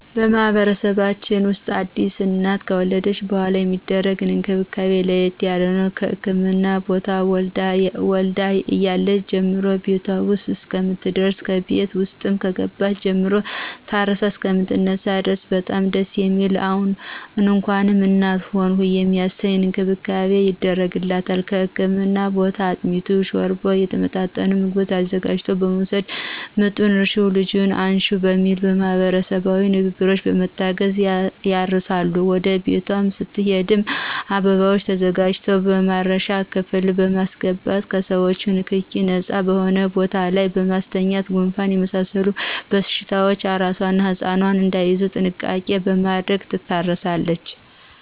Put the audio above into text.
በማህበረሰባችን ውስጥ አዲስ እናት ከወለደች በሗላ የሚደረግላት እንክብካቤ ለየት ያለ ነው። ከህክምና ቦታ ወልዳ እያለች ጀምሮ ቤቷ ውስጥ እስከምትደርስና ከቤት ውስጥም ከገባች ጀምሮ ታርሳ እሰከምትነሳ ድረስ በጣም ደስ የሚል እንኳንም እናት ሆንሁ የሚያሰኝ እንክብካቤ ይደረግላታል ከህክምና ቦታ አጥሚቱን: ሾርባውና የተመጣጠኑ ምግቦችን አዘጋጅቶ በመወሰድ ምጡን እርሽው ልጁን አንሽው በሚል ማህበረሰባዊ ንግግሮች በመታገዝ ያርሳሉ ወደ ቤቷ ስትሄድም አበባዎች ተዘጋጅተው ማረሻ ክፍል በማሰገባት ከሰዎቾ ንክኪ ነጻ በሆነ ቦታ ላይ በማስተኛት ጉንፋንና የመሳሰሉት በሽታዎች አራሷና ህጻኑ እዳይያዙ ጥንቃቄ በማድረግ ትታረሳለች።